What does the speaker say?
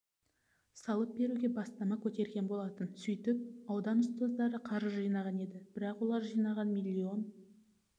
салып беруге бастама көтерген болатын сөйтіп аудан ұстаздары қаржы жинаған еді бірақ олар жинаған миллион